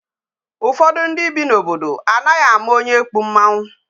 Ụfọdụ ndị bi n'obodo anaghị ama onye kpu mmanwụ.